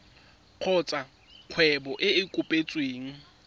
kgotsa kgwebo e e kopetsweng